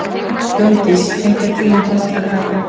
Gunndís, einhvern tímann þarf allt að taka enda.